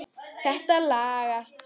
Þetta lagast.